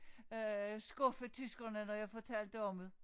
Øh skuffe tyskerne når jeg fortalte om det